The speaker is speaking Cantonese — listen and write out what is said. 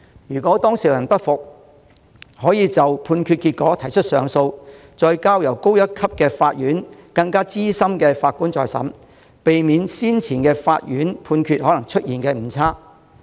如當事人不服，可就判決結果提出上訴，再交由較高級法院由更資深法官審理，避免先前法院的判決可能出現誤差。